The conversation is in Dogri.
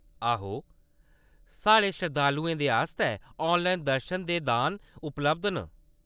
आहो, साढ़े शरधालेूं दे आस्तै ऑनलाइन दर्शन ते दान उपलब्ध न।